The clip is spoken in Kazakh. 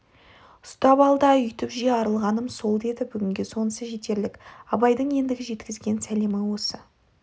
ұстап ал да үйтіп же арылғаным сол деді бүгінге сонысы жетерлік абайдың ендігі жеткізген сәлемі осы